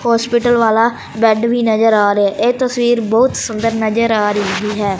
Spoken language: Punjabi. ਹੌਸਪੀਟਲ ਵਾਲਾ ਬੇਡ ਵੀ ਨਜਰ ਆ ਰਿਹਾ ਹੈ ਇਹ ਤਸਵੀਰ ਬਹੁਤ ਸੁੰਦਰ ਨਜਰ ਆ ਰਹੀ ਹੈ।